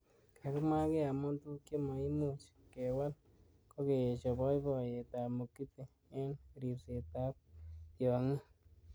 Kakimwa kee amu tukuk chmakoimuch kewal kokeesho boiboiyet ab Mugithi eng ribset ab tyongik.